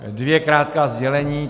Dvě krátká sdělení.